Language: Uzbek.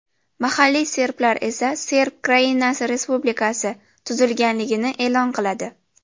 Mahalliy serblar esa Serb Krainasi respublikasi tuzilganligini e’lon qiladi.